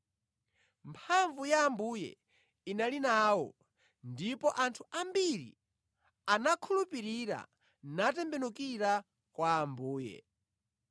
Mphamvu ya Ambuye inali nawo ndipo anthu ambiri anakhulupirira natembenukira kwa Ambuye.